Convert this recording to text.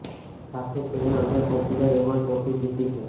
સાથે જ તેણે અનેક પોપ્યુલર એવોર્ડ ટ્રોફીઝ જીતી છે